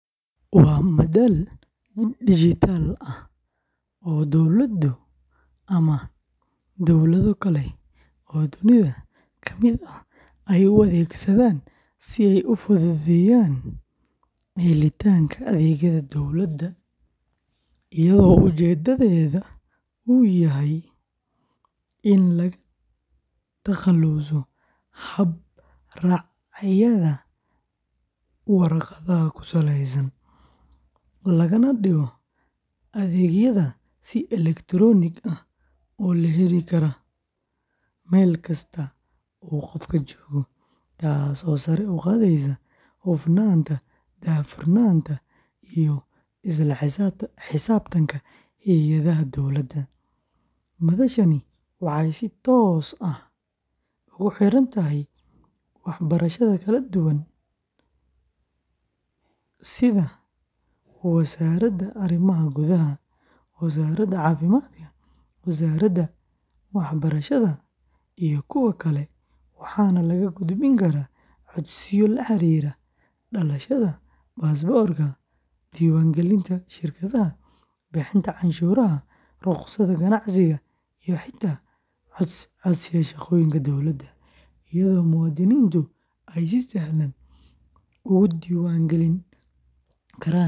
Waa madal dijitaal ah oo dowladda ama dowlado kale oo dunida ka mid ah ay u adeegsadaan si ay u fududeeyaan helitaanka adeegyada dowladda, iyada oo ujeeddadu tahay in laga takhaluso hab-raacyada warqadaha ku saleysan, lagana dhigo adeegyada si elektaroonik ah loo heli karo meel kasta oo uu qofka joogo, taasoo sare u qaadaysa hufnaanta, daahfurnaanta, iyo isla xisaabtanka hay’adaha dowladda; madashani waxay si toos ah ugu xiran tahay wasaarado kala duwan sida wasaaradda arrimaha gudaha, wasaaradda caafimaadka, wasaaradda waxbarashada, iyo kuwa kale, waxaana laga gudbin karaa codsiyo la xiriira dhalashada, baasaboorka, diiwaangelinta shirkadaha, bixinta cashuuraha, rukhsadaha ganacsiga, iyo xitaa codsiyada shaqooyinka dowladda, iyadoo muwaadiniintu ay si sahlan ugu diiwaangeli karaan akoon.